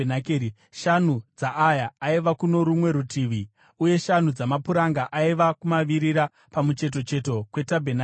shanu dzaaya aiva kuno rumwe rutivi, uye shanu dzamapuranga aiva kumavirira, pamucheto cheto kwetabhenakeri.